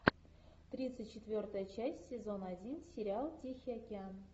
тридцать четвертая часть сезон один сериал тихий океан